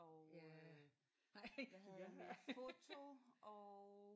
Ja ej ja